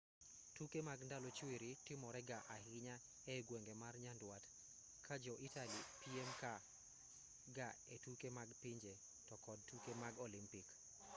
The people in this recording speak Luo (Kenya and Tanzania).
tuke mag ndalo chwiri timore ga ahinya ei gwenge ma nyandwat ka jo-italy piem ga e tuke mag pinje to kod tuke mag olimpik